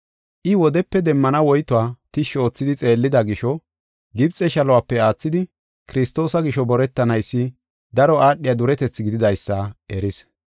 I wodepe demmana woytuwa tishshi oothidi xeellida gisho, Gibxe shaluwape aathidi Kiristoosa gisho boretanaysi daro aadhiya duretethi gididaysa eris.